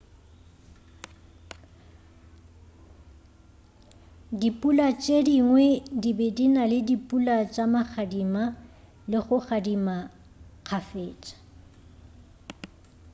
dipula tše dingwe di be di na le dipula tša magadima le go gadima kgafetša